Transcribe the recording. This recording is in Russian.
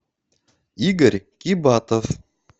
игорь кибатов